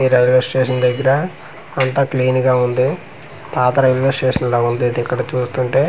ఈ railway station దగ్గర అంతా క్లీన్ గా ఉంది పాత రైల్వే స్టేషన్ లాగుంది ఇది ఇక్కడ చూస్తుంటే--